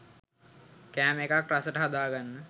කෑම එකක් රසට හදාගන්න